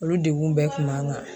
Olu degun bɛɛ kun b'an kan.